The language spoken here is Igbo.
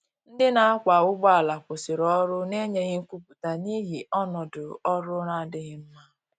Ndi na akwa ụgbọ ala kwụsiri ọrụ na enyeghi nkwụputa n'ihi ọnọdọ ọrụ na-adighi mma.